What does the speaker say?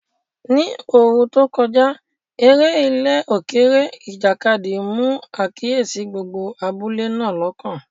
Ní ìgbà ooru tó kọjá, eré ilẹ̀ òkèèrè, ìjàkadì, mú àkíyèsí gbogbo abúlé náà lọ́kàn.